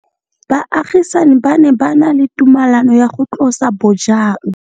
Baagisani ba ne ba na le tumalanô ya go tlosa bojang.